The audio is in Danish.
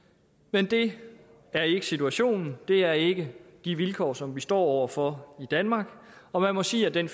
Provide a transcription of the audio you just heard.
men det er ikke situationen det er ikke de vilkår som vi står over for i danmark og man må sige at den